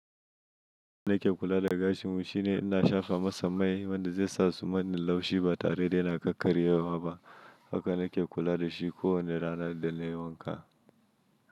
Nake kula da gashinmu shine ina shafa masa mai wanda zai sa suma tai laushi ba tare da yana kakkaryewa ba. Haka na ke kula da shi ko wane rana idan na yi wanka.